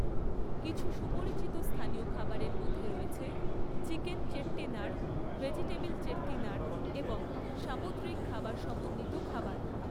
কিছু সুপরিচিত স্থানীয় খাবারের মধ্যে রয়েছে চিকেন চেট্টিনাড়, ভেজিটেবল চেট্টিনাড় এবং সামুদ্রিক খাবার সমন্বিত খাবার।